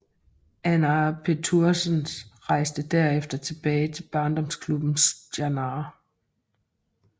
Arnar Pétursson rejste derefter tilbage til barndomsklubben Stjarnan